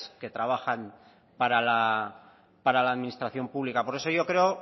que trabajan para la administración pública por eso yo creo